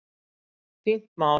Fínt mál.